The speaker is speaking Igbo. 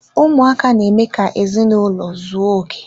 Ụmụaka na-eme ka ezinaụlọ ụzọ oké.